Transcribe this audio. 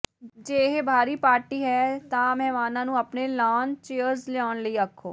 ਜੇ ਇਹ ਬਾਹਰੀ ਪਾਰਟੀ ਹੈ ਤਾਂ ਮਹਿਮਾਨਾਂ ਨੂੰ ਆਪਣੇ ਲਾਅਨ ਚੇਅਰਜ਼ ਲਿਆਉਣ ਲਈ ਆਖੋ